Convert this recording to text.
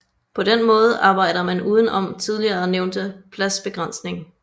På den måde arbejder man uden om tidligere nævnte pladsbegrænsning